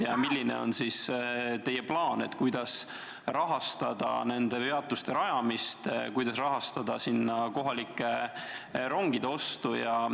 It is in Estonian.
Ja milline on teie plaan, kuidas rahastada nende peatuste rajamist ja kohalike rongide ostu?